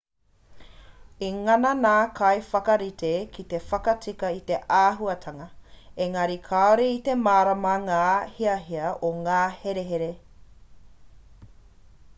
i ngana ngā kaiwhakarite ki te whakatika i te āhuatanga engari kāore i te mārama ngā hiahia o ngā herehere